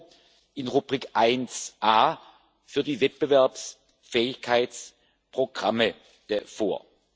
EUR in Rubrik 1A für die Wettbewerbsfähigkeitsprogramme vor.